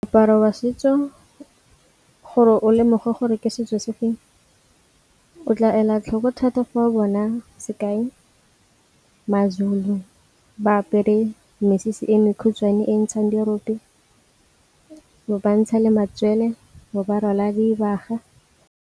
Moaparo wa setso gore o lemoge gore ke setso se feng o tla ela tlhoko thata go bona sekai maZulu ba apere mesese e mekhutshwane e ntshang dirope, bantsha le matsele bo ba rwala dibaga.